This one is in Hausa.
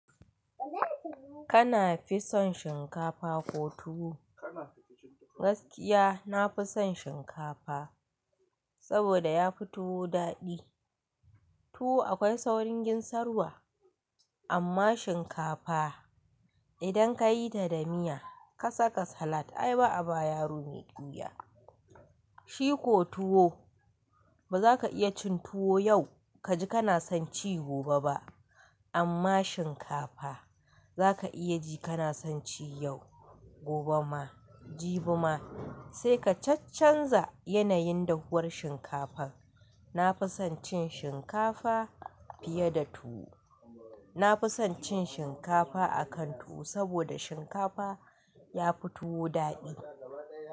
Kana fi son shinkafa ko tuwo? Gaskiya, na fi son shinkafa saboda ya fi tuwo daɗi. Tuwo akwai saurin ginsarwa, amma shinkafa idan ka yi ta da miya, ka saka salat ai ba a ba yaro mai qeuya. Shi ko tuwo, ba za ka iya cin tuwo yau ka ji kana son ci gobe ba, amma shinkafa za ka iya ji kana son ci yau, gobe ma, jibi ma sai ka cac canza yanayin dahuwar shinkafar. Na fi son cin shinkafa fiye da tuwo. Na fi son cin shinkafa a kan tuwo saboda shinkafa ya fi tuwo daɗi.